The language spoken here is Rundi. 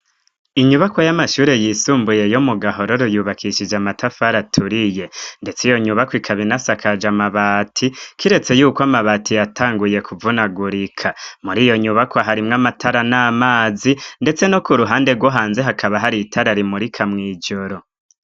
inyubako y'amashure yisumbuye yo mu gahororo yubakishije amatafari aturiye ndetse iyo nyubako ikabina sakaje amabati kiretse yuko amabati yatanguye kuvunagurika muri iyo nyubakwa harimwo amatara n'amazi ndetse no ku ruhande rwuhanze hakaba hari itararimurika mw' ijoro